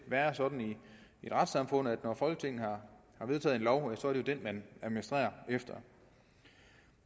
være sådan i et retssamfund at når folketinget har vedtaget en lov så er det den man administrerer efter